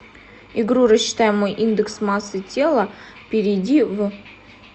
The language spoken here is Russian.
игру рассчитай мой индекс массы тела перейди в